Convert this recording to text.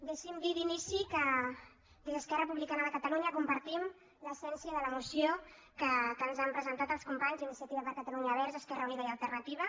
deixin·me dir d’inici que des d’esquerra republicana de catalunya com·partim l’essència de la moció que ens han presentat els companys d’iniciativa per catalunya verds · esquerra unida i alternativa